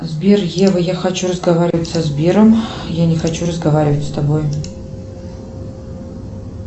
сбер ева я хочу разговаривать со сбером я не хочу разговаривать с тобой